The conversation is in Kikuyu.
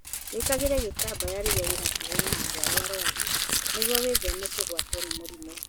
Wĩkage gĩtambaya rĩrĩa ũrĩ hakuhĩ na andũ arĩa arũaru nĩguo wĩtheme kũgwatwo nĩ mĩrimũ.